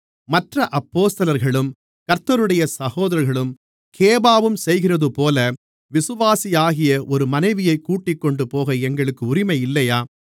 மற்ற அப்போஸ்தலர்களும் கர்த்தருடைய சகோதரர்களும் கேபாவும் செய்கிறதுபோல விசுவாசியாகிய ஒரு மனைவியை கூட்டிக்கொண்டுபோக எங்களுக்கு உரிமை இல்லையா